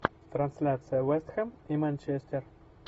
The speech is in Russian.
трансляция вест хэм и манчестер